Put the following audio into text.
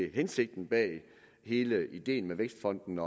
hensigten bag hele ideen med vækstfonden